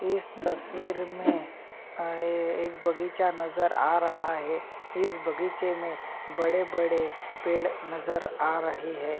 इस तस्वीर में अ एक एक बगीचा नज़र आ रहा है इस बगीचे में बड़े-बड़े पेड़ नज़र आ रहे है।